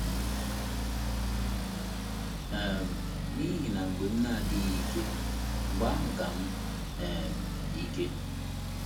um N’ihi na mgbe m na-adịghị ike, mgbe ahụ ka m um dị ike.